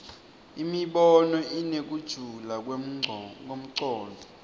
imibono inekujula kwemcondvo